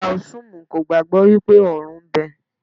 Táósímù kò gbàgbọ́ wípé ọ̀run ń bẹ.